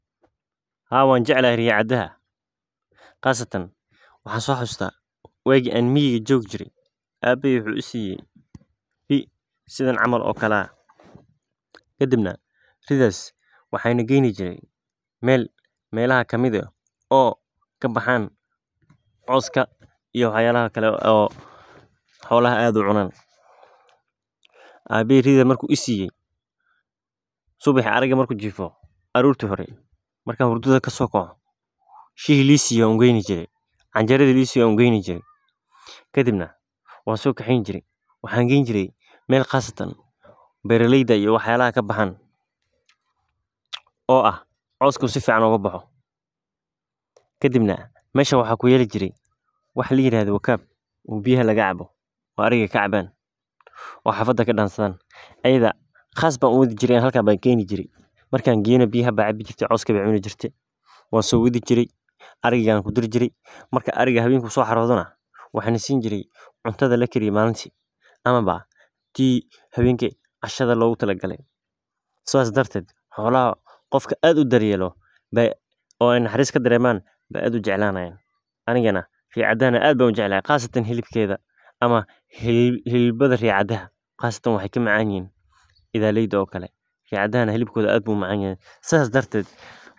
Ha , wanjeclhy riyaa cadaha, qasatan waxaan so xasustah wagi an miyiga jogi jire aabehey wuxuu i siye rii sidhan camal oo kale ah. Kadib na ridas waxay nu geynijire mel melaha kamid ah oo kabaxan cawska iyo wax yalaha kale oo xolaha ad u cunan. Abehey riida marku isiiye subaxi ariga marku jifo arorti hore, markan hurdhada kasokaco shihi liisiyo an ugeyni jire, canjeradi lisiyo an ugeyni jire kadibna wan so kaxeyni jire waxan geyn jire mel qasatan beraleydha iyo wax yalaha kabaxan oo ah cawsku sifican oga baxo, kadibna mesha waxaa kuyali jire wax la yirahdho wakaab oo biyaha lagacabo oo ariga kacaban oo xafada kadansadhan ayadha qas ban u wadi jire halkas ban geyni jire markan geyo na biyaha bay cabi jirte cawska bey cuni jirte, wan sowadhi jire ariga an kudari jire, marka ariga hawenki so xarodo na waxan siin jire cuntadha lakariye malinti ama ba tii hawenki cashada logutalagale, sidas darted xolaha qofki ad u daryelo oo ay naxaris kadareman ay ad ujeclanayan , anigana riyaa cadaha na ad an ujeclay qasatan hilibkedha ama hilibada riyaa cadaha qasatan waxaay ka macanyihin idhaleydha oo kale, riya cadaha na hilibkotha ad bu umacanyahay, sas darted